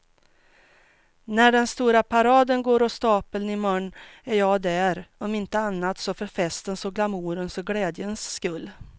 När den stora paraden går av stapeln i morgon är jag där, om inte annat så för festens och glamourens och glädjens skull.